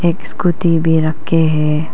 एक स्कूटी भी रखे हैं।